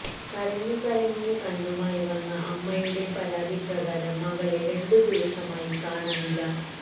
കരഞ്ഞു കലങ്ങിയ കണ്ണുമായി വന്ന അമ്മയുടെ പരാതി പ്രകാരം മകളെ രണ്ടു ദിവസമായി കാണാനില്ല